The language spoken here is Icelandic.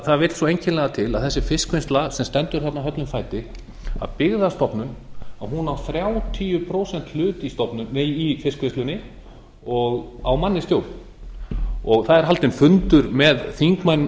það vill svo einkennilega til að þessi fiskvinnsla sem stendur þarna höllum fæti að byggðastofnun á þrjátíu prósenta hlut í fiskvinnslunni og á mann í stjórn það er haldinn fundur með þingmönnum